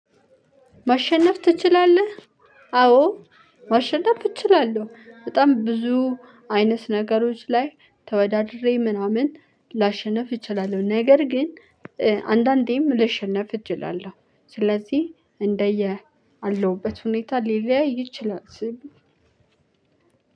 "መሸነፍ ትችላለህ?"አወን መሸነፍ እችላለሁ። በጣም ብዙ ነገሮች ላይ ተወዳድሬ ምናምን ላሸንፍ እችላለሁ። ነገር ግን አንዳንዴም ልሸነፍ እጅ እችላለሁ። ስለዚህ እንደየ አለሁበት ሁኔታ ሊለያይ ይችላል።